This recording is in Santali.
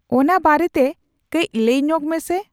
ᱚᱱᱟ ᱵᱟᱨᱮᱛᱮ ᱠᱟᱺᱡ ᱞᱟᱹᱭ ᱧᱚᱜᱽ ᱢᱮᱥᱮ ᱾